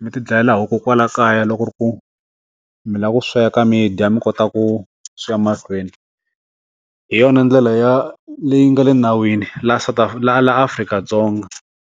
mi tidlayela huku kwalaho kaya loko ku ri ku mi la ku sweka midya ka mi kota ku swi ya mahlweni hi yona ndlela ya leyi nga le nawini la ta laha laha Afrika-Dzonga.